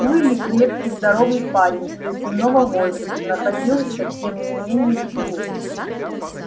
уилли крепкий здоровый парень призывного возраста находился тем не менее в тылу